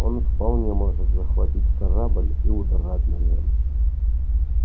он вполне может захватить корабль и удрать на нем